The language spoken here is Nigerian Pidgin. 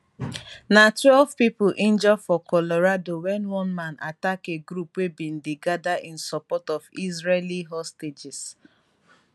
na twelve pipo injure for colorado wen one man attack a group wey bin dey gada in support of israeli hostages